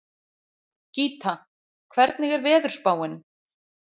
Gíta, hvernig er veðurspáin?